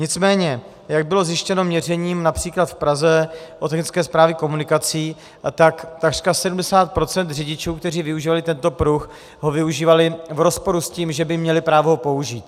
Nicméně jak bylo zjištěno měřením například v Praze od Technické správy komunikací, tak takřka 70 % řidičů, kteří využívali tento pruh, ho využívali v rozporu s tím, že by měli právo ho použít.